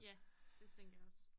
Ja det tænker jeg også